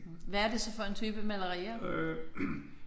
Hvad er det så for en type malerier?